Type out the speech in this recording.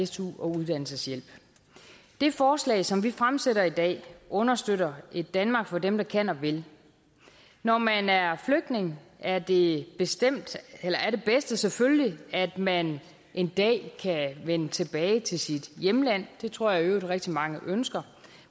su og uddannelseshjælp det forslag som vi fremsætter i dag understøtter et danmark for dem der kan og vil når man er flygtning er det bedste selvfølgelig at man en dag kan vende tilbage til sit hjemland det tror jeg i øvrigt rigtig mange ønsker